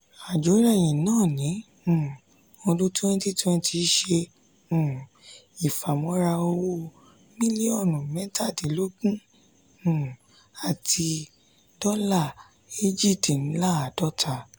àjórẹ̀yìn nà ní um ọdún twenty twenty ṣe um ifamora owó mílíọ̀nù mẹtàdínlógún um àti dola ejidinladọta.